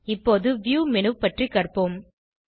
இப்போது view menu பற்றி கற்போம்